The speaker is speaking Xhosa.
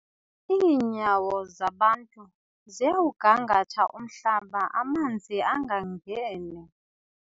Iinyawo zabantu ziyawugangatha umhlaba amanzi angangeni.